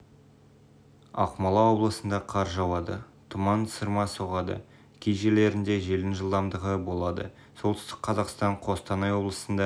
ақмола облысында қар жауады тұман сырма соғады кей жерлерінде желдің жылдамдығы болады солтүстік қазақстан қостанай облысында